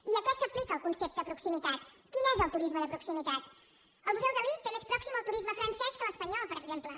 i a què s’aplica el concepte proximitat quin és el turisme de proximitat el museu dalí té més pròxim el turisme francès que l’espanyol per exemple